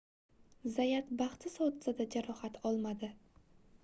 zayat baxtsiz hodisada jarohat olmadi